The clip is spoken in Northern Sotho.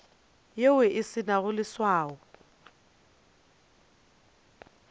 yeo e se nago leswao